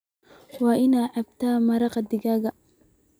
Waa inaad cabtaa maraq digaag